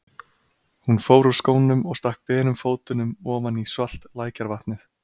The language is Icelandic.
Hún fór úr skónum og stakk berum fótunum ofan í svalt lækjarvatnið.